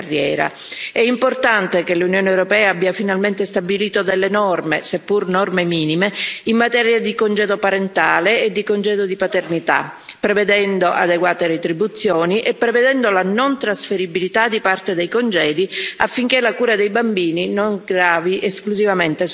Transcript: È importante che l'Unione europea abbia finalmente stabilito delle norme, seppur norme minime, in materia di congedo parentale e di congedo di paternità, prevedendo adeguate retribuzioni e prevedendo la non trasferibilità di parte dei congedi, affinché la cura dei bambini non gravi esclusivamente sulle madri.